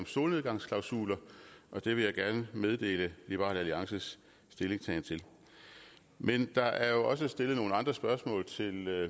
solnedgangsklausul og det vil jeg gerne meddele liberal alliances stillingtagen til men der er jo også stillet nogle andre spørgsmål til